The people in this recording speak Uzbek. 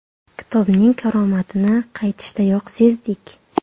Kitobning karomatini qaytishdayoq sezdik.